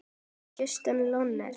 Justin Leonard